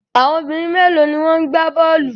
Àwọn obìnrin mélòó ni ó ń gbá bọ́ọ́lù?